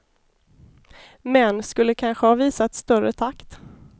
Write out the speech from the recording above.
Män skulle kanske ha visat större takt.